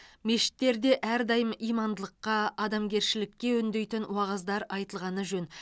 мешіттерде әрдайым имандылыққа адамгершілікке үндейтін уағыздар айтылғаны жөн